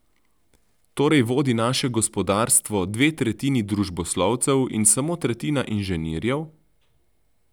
Torej vodi naše gospodarstvo dve tretjini družboslovcev in samo tretjina inženirjev?